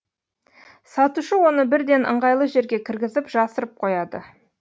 сатушы оны бірден ыңғайлы жерге кіргізіп жасырып қояды